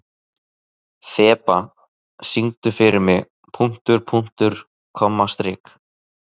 Þeba, syngdu fyrir mig „Punktur, punktur, komma, strik“.